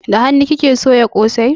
Da hanun kike soya kosai?